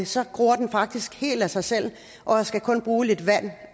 så gror den faktisk helt af sig selv og skal kun bruge lidt vand